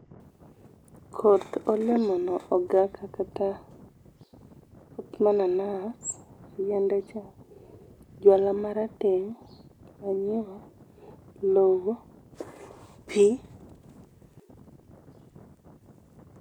Koth olemono ogaka kata koth mananas, yiende cha, jwala marateng, manyiwa, lowo ,pii